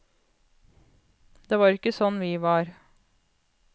Det var ikke sånn vi var.